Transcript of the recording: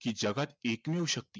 कि जगात एकमेव शक्ती